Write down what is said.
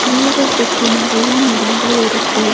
வீடு சுத்தி நெறைய மரங்கள் இருக்கு.